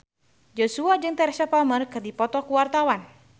Joshua jeung Teresa Palmer keur dipoto ku wartawan